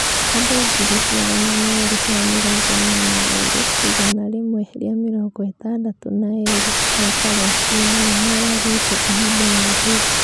Andũ 242,162 a Palesitina nĩ mooragĩtwo ihinda-inĩ rĩu.